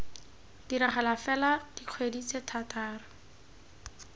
diragala fela dikgwedi tse thataro